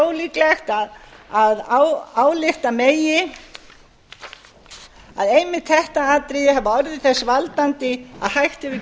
ólíklegt að álykta megi að einmitt þetta atriði hafi orðið þess valdandi að hægt hafi